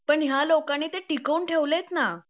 पण ह्या लोकांनी ते टिकवून ठेवलेत ना